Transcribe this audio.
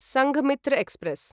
Sanghamitra express